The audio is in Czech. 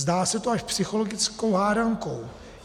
Zdá se to až psychologickou hádankou.